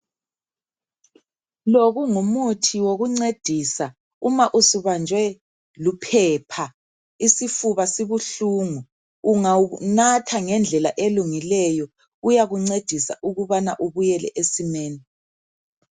Lo kungumuthi wokuncedisa uma ububanjwe luphepha isifuba sibuhlungu ungawunatha ngendlela elungileyo uyakuncedisa ukubana ubuyele esimeni.